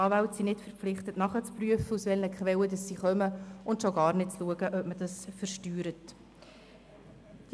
Die Anwälte sind nicht verpflichtet, nachzuprüfen, aus welchen Quellen die Gelder stammen, geschweige denn, ob die Gelder versteuert werden.